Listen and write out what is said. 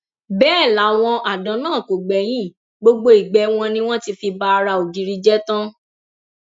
bẹẹ làwọn àdán náà kò gbẹyìn gbogbo igbe wọn ni wọn ti fi ba ara ògiri jẹ tán